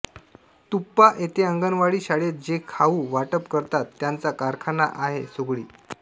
तुप्पा येथे अंगणवाडी शाळेत जे खाऊ वाटप करतात त्याचा कारखाना आहे सुगडी